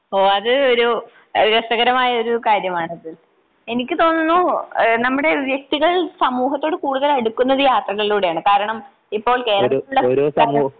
ഓഹ് അത് ഒരു രസകരമായൊരു കാര്യമാണ് അതുൽ. എനിക്ക് തോന്നുന്നു നമ്മുടെ വ്യക്തികൾ സമൂഹത്തോട് കൂടുതൽ അടുക്കുന്നത് യാത്രകളിലൂടെയാണ് കാരണം ഇപ്പോൾ കേരളത്തിൽ ഉള്ള സംസ്കാരം